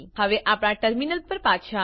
હવે આપણા ટર્મીનલ પર પાછા આવીએ